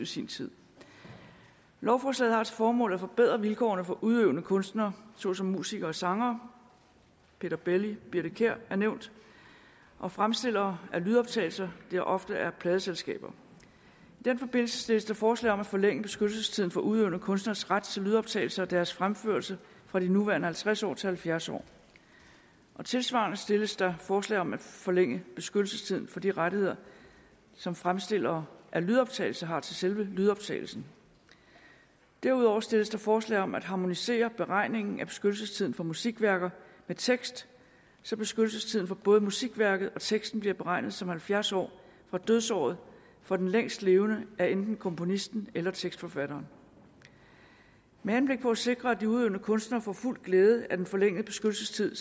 sin tid lovforslaget har til formål at forbedre vilkårene for udøvende kunstnere såsom musikere og sangere peter belli og birthe kjær er nævnt og fremstillere af lydoptagelser der ofte er pladeselskaber i den forbindelse stilles der forslag om at forlænge beskyttelsestiden for udøvende kunstneres ret til lydoptagelser af deres fremførelse fra de nuværende halvtreds år til halvfjerds år og tilsvarende stilles der forslag om at forlænge beskyttelsestiden for de rettigheder som fremstillere af lydoptagelser har til selve lydoptagelsen derudover stilles der forslag om at harmonisere beregningen af beskyttelsestiden for musikværker med tekst så beskyttelsestiden for både musikværket og teksten bliver beregnet som halvfjerds år fra dødsåret for den længstlevende af enten komponisten eller tekstforfatteren med henblik på at sikre at de udøvende kunstnere får fuld glæde af den forlængede beskyttelsestid